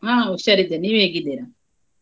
ಹಾ ಹುಷಾರಿದ್ದೇನೆ ನೀವ್ ಹೇಗಿದ್ದೀರಾ?